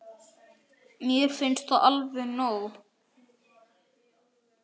Mér finnst það alveg nóg.